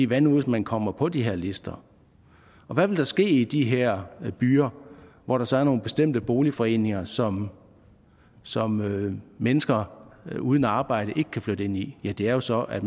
hvad nu hvis man kommer på de her lister hvad vil der ske i de her byer hvor der så er nogle bestemte boligforeninger som som mennesker uden arbejde ikke kan flytte ind i ja det er jo så at